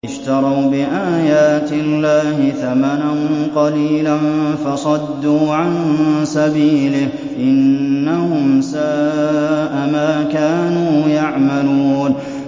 اشْتَرَوْا بِآيَاتِ اللَّهِ ثَمَنًا قَلِيلًا فَصَدُّوا عَن سَبِيلِهِ ۚ إِنَّهُمْ سَاءَ مَا كَانُوا يَعْمَلُونَ